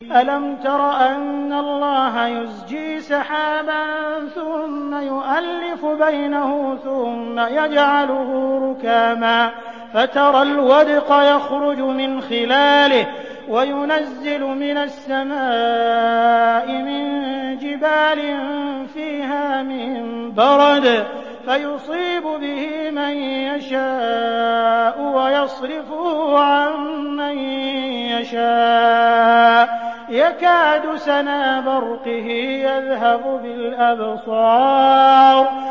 أَلَمْ تَرَ أَنَّ اللَّهَ يُزْجِي سَحَابًا ثُمَّ يُؤَلِّفُ بَيْنَهُ ثُمَّ يَجْعَلُهُ رُكَامًا فَتَرَى الْوَدْقَ يَخْرُجُ مِنْ خِلَالِهِ وَيُنَزِّلُ مِنَ السَّمَاءِ مِن جِبَالٍ فِيهَا مِن بَرَدٍ فَيُصِيبُ بِهِ مَن يَشَاءُ وَيَصْرِفُهُ عَن مَّن يَشَاءُ ۖ يَكَادُ سَنَا بَرْقِهِ يَذْهَبُ بِالْأَبْصَارِ